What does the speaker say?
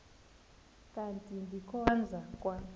kanti ndikhonza kwa